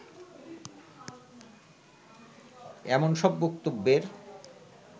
এমন সব বক্তব্যের